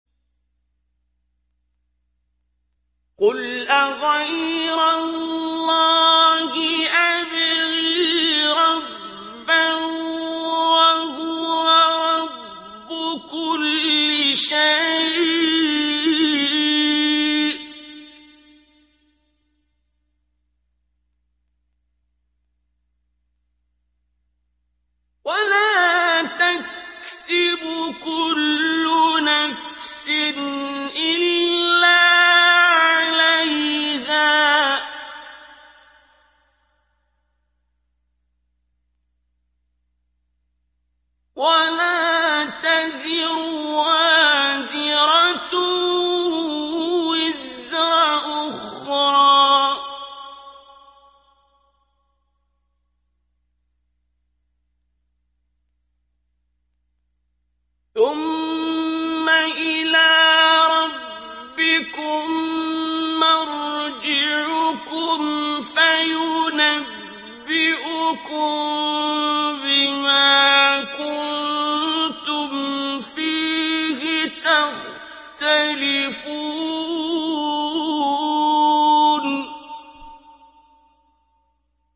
قُلْ أَغَيْرَ اللَّهِ أَبْغِي رَبًّا وَهُوَ رَبُّ كُلِّ شَيْءٍ ۚ وَلَا تَكْسِبُ كُلُّ نَفْسٍ إِلَّا عَلَيْهَا ۚ وَلَا تَزِرُ وَازِرَةٌ وِزْرَ أُخْرَىٰ ۚ ثُمَّ إِلَىٰ رَبِّكُم مَّرْجِعُكُمْ فَيُنَبِّئُكُم بِمَا كُنتُمْ فِيهِ تَخْتَلِفُونَ